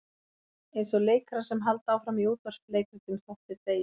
Eins og leikarar sem halda áfram í útvarpsleikritum þótt þeir deyi.